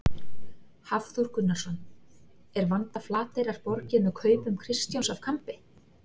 Hafþór Gunnarsson: Er vanda Flateyrar borgið með kaupum Kristjáns af Kambi?